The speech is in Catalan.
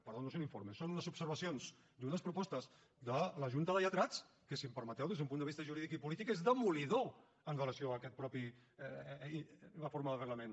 perdó no és un informe són unes observacions i unes propostes de la junta de lletrats que si em permeteu des d’un punt de vista jurídic i polític són demolidores amb relació a aquesta mateixa reforma del reglament